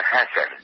হ্যাঁ স্যার